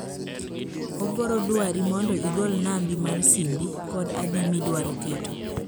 oboro duari mondo igol nambi mar simbi kod adi miduaro keto